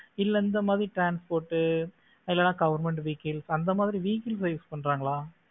இல்ல இந்த மாதிரி transport இல்லன்னா government vehicle அந்த மாதிரி vehicle use பண்றாங்களா